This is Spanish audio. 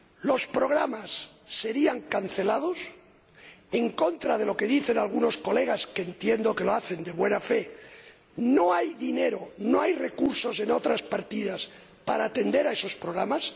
Los programas se cancelarían porque, en contra de lo que dicen algunas de sus Señorías —que entiendo que lo hacen de buena fe—, no hay dinero, no hay recursos en otras partidas para atender esos programas.